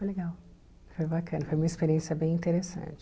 Foi legal, foi bacana, foi uma experiência bem interessante.